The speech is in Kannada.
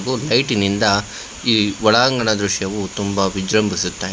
ಹಾಗು ಲೈಟಿನಿಂದ ಈ ಒಳಂಗಣ ದೃಶ್ಯವು ತುಂಬಾ ವಿಜ್ರಂಭಿಸುತ್ತಿದೆ.